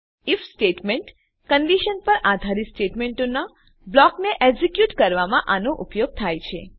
if statement condition પર આધારિત સ્ટેટમેંટોનાં બ્લોકને એક્ઝેક્યુટ કરવામાં આનો ઉપયોગ થાય છે